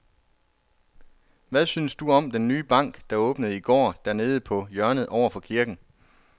Hvad synes du om den nye bank, der åbnede i går dernede på hjørnet over for kirken?